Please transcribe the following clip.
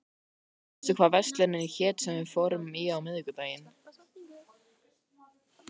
Sónata, manstu hvað verslunin hét sem við fórum í á miðvikudaginn?